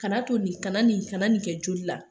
Kana to nin, kana nin kana nin kɛ joli la.